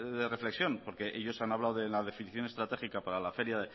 de reflexión porque ellos han hablado en la definición estratégica para la feria